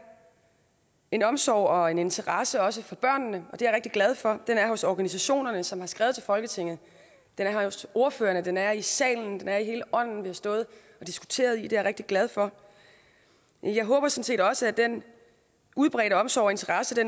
en omsorg og en interesse også for børnene det er jeg rigtig glad for den er hos organisationerne som har skrevet til folketinget den er hos ordførerne den er i salen og den er i hele ånden vi har stået og diskuteret i det er jeg rigtig glad for jeg håber sådan set også at den udbredte omsorg og interesse